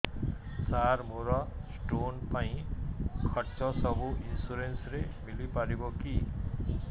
ସାର ମୋର ସ୍ଟୋନ ପାଇଁ ଖର୍ଚ୍ଚ ସବୁ ଇନ୍ସୁରେନ୍ସ ରେ ମିଳି ପାରିବ କି